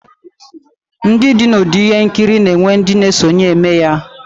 Ndi di na udi ihe nkiri na enwe ndi na na esonye emeya